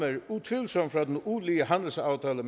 utvivlsomt fra den ulige handelsaftale